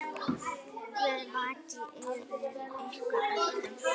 Guð vaki yfir ykkur öllum.